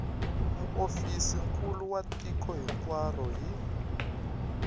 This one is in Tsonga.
muofisirinkulu wa tiko hinkwaro hi